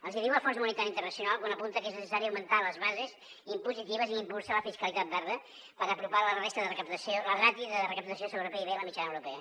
els hi diu el fons monetari internacional quan apunta que és necessari augmentar les bases impositives i impulsar la fiscalitat verda per apropar la ràtio de recaptació sobre pib a la mitjana europea